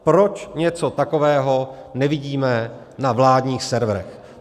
Proč něco takového nevidíme na vládních serverech?